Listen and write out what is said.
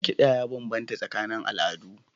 Kiɗa ya bambanta tsakanin al'adu.